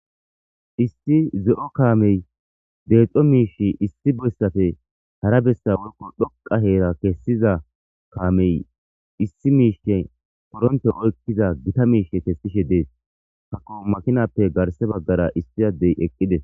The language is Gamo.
isti ze7o kaamey deexxo miish issi beyssafe hara bessa workko dhoqa heera kessiza kaamey issi miishske poronte oykkiza gita miishe kessishe dees hakko makinappe garse baggara istizadey eqqides